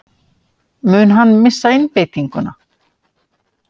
Mun hann missa einbeitinguna?